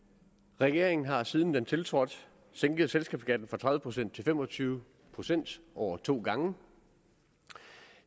regeringen har siden den tiltrådte sænket selskabsskatten fra tredive procent til fem og tyve procent over to gange og